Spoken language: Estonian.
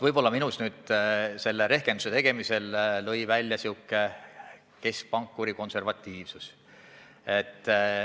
Võib-olla lõi minul selle rehkenduse tegemisel välja keskpankuri konservatiivsus.